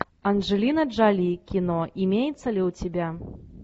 анджелина джоли кино имеется ли у тебя